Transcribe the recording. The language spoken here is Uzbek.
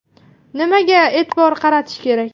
Nimaga e’tibor qaratish kerak?